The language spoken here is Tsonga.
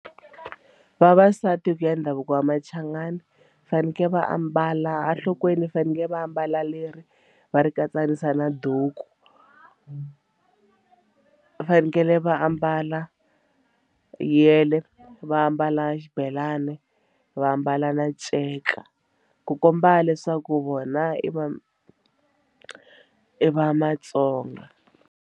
Vavasati hi ku ya ndhavuko wa Machangani fanekele va ambala enhlokweni fanekele va ambala leri va ri katsanisa na duku va fanekele va ambala yele va ambala xibelani va ambala na nceka ku komba leswaku vona i va i va Matsonga.